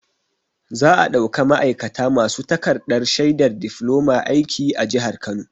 Za'a ɗauka ma'aikata masu takarɗar shaidar difloma aiki a jihar Kano.